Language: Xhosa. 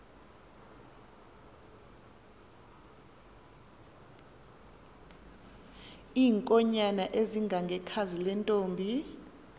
iinkonyan ezingangekhazi lentomb